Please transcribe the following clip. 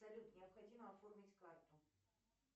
салют необходимо оформить карту